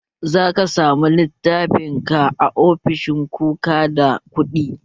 Zaka samu littafan ka a ofishin kuka da kuɗi